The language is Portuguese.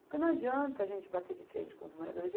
Porque não adianta a gente bater de frente com os moradores.